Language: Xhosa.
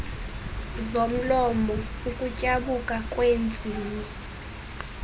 zomlomo ukutyabuka kweentsini